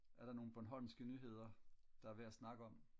er der nogle bornhomske nyheder der er værd at snakke om